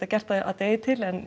gert það að degi til en